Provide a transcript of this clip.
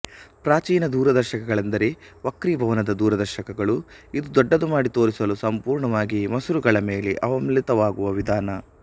ಪ್ರಾಚೀನ ದೂರದರ್ಶಕಗಳೆಂದರೆ ವಕ್ರೀಭವನದ ದೂರದರ್ಶಕಗಳು ಇದು ದೊಡ್ಡದು ಮಾಡಿ ತೋರಿಸಲು ಸಂಪೂರ್ಣವಾಗಿ ಮಸೂರಗಳ ಮೇಲೆ ಅವಲಂಬಿತವಾಗುವ ವಿಧಾನ